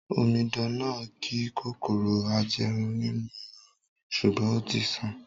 Omidan náà ni kòkòrò ajẹrun nínú irun rẹ̀, sùgbón ó ti sàn